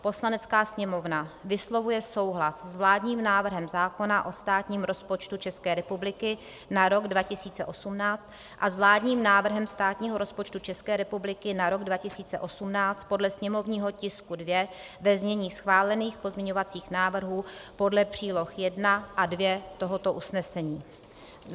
Poslanecká sněmovna vyslovuje souhlas s vládním návrhem zákona o státním rozpočtu České republiky na rok 2018 a s vládním návrhem státního rozpočtu České republiky na rok 2018 podle sněmovního tisku 2, ve znění schválených pozměňovacích návrhů podle příloh I a II tohoto usnesení;